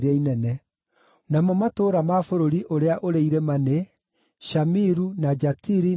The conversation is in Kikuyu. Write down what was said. Namo matũũra ma bũrũri ũrĩa ũrĩ irĩma nĩ: Shamiru, na Jatiri, na Soko,